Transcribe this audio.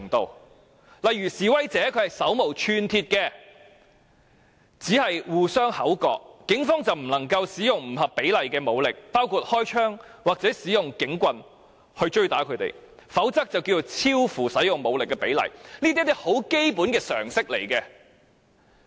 舉例說，如果示威者手無寸鐵，只是口角，警方便不能夠使用不合比例的武力，包括開槍或用警棍追打他們，否則便會超出所需的武力比例，這只是一些基本常識而已。